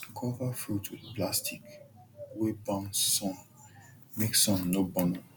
cover fruit with plastic wey bounce sun make sun no burn am